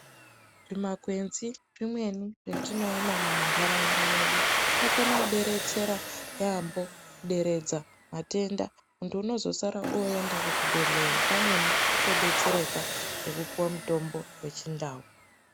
Zvimakwenzi zvimweni zvetinoona mumantaraunda mwedu zvinokona kubetsera yaambo. Kuderedza matenda muntu unozosara oenda kuchibhedhleya pamweni atobetsereka ngekupuva mutombo vechindau.